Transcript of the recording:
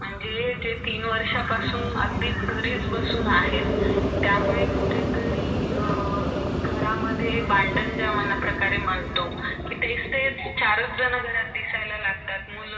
acting करण्यासाठी तिझ्या एका मित्रा बरोबर पळुन जाते आणि ती थोड्या दिवासानंतर मोठी actor होते पण त्यांच्या इकडे आईचे आणि बहिणेचे तुझ्या दोन्ही बहिणीचे खुप हाल होतात अं मग तिला मग खूप सारे actor